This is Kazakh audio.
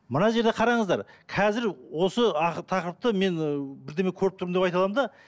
мына жерде қараңыздар қазір осы тақырыпты мен бірдеме көріп тұрмын деп айта аламын да